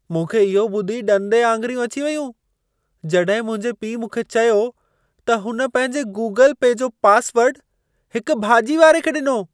मूंखे इहो ॿुधी ॾंदे आङिरियूं अची वयूं, जॾहिं मुंहिंजे पीउ मूंखे चयो त हुन पंहिंजे गूगल पे जो पासवर्डु हिकु भाॼी वारे खे ॾिनो।